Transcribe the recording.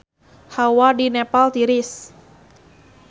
Hawa di Nepal tiris